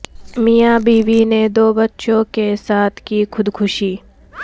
میاں بیوی نے دو بچوں کے ساتھ کی خود کشی